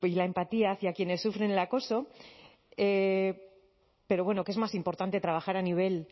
la empatía hacia quienes sufren el acoso pero bueno que es más importante trabajar a nivel